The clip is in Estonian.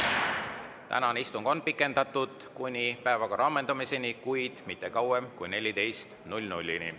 Tänane istung on pikendatud kuni päevakorra ammendumiseni, kuid mitte kauem kui kella 14-ni.